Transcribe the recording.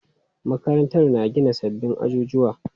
Makarantar na gina sabbin ajujuwa.